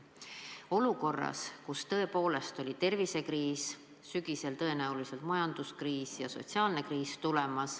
Aga me oleme olukorras, kus tõepoolest oli tervisekriis ja sügisel seisab tõenäoliselt ees majanduslik kriis ja sotsiaalne kriis.